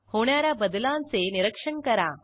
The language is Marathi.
होणा या बदलांचे निरीक्षण करा